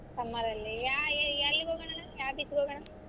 Summer ಅಲ್ಲಿ ಯಾ~ ಏ~ ಎಲ್ಲಿಗ ಹೋಗಣಾ ಅಣ್ಣಾ ಯಾವ್ beach ಗ್ ಹೋಗಣಾ.